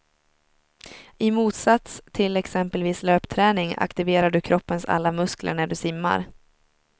I motsats till exempelvis löpträning aktiverar du kroppens alla muskler när du simmar.